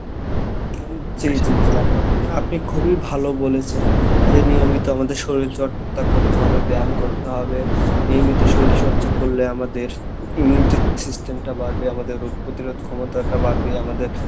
জি জি জি আপনি আপনি খুবই ভালো বলেছেন যে নিয়মিত আমাদের শরীল চর্চা করতে হবে ব্যাম করতে হবে নিয়মিত শরীল চর্চা করলে আমাদের immunity system টা বাড়বে আমাদের রোগ প্রতিরোধ ক্ষমতাটা বাড়বে, আমাদের